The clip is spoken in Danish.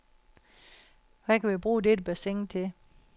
Hvad kan vi bruge dette bassin til?